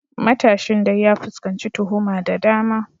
Matashin dai ya fuskanci tuhuma da dama.